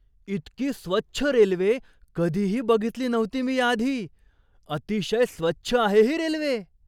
इतकी स्वच्छ रेल्वे कधीही बघितली नव्हती मी याआधी! अतिशय स्वच्छ आहे ही रेल्वे!